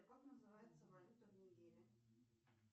как называется валюта в нигерии